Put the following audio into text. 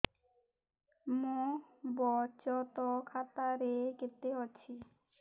ମୋ ବଚତ ଖାତା ରେ କେତେ ଅଛି